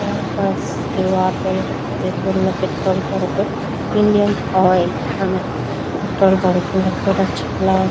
ఆ bus petrol bunk Indian Oil అనే petrol bunk చాల --